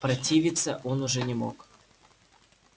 противиться он уже не мог